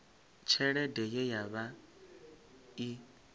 tshelede ye ya vha i